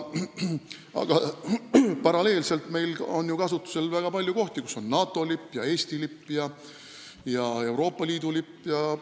Aga meil on ju väga palju kohti, kus on paralleelselt kasutusel NATO, Eesti ja Euroopa Liidu lipp.